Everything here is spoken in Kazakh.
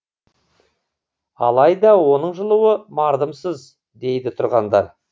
алайда оның жылуы мардымсыз дейді тұрғындар